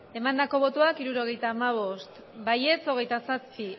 emandako botoak hirurogeita hamabost bai hogeita zazpi